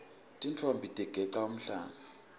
tintfombi tigeca umhlanga